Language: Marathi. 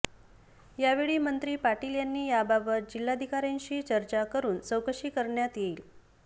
यावेळी मंत्री पाटील यांनी याबाबत जिल्हाधिकाऱयांशी चर्चा करुन चौकशी करण्यात येईल